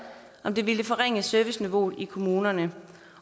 om det ville forringe serviceniveauet i kommunerne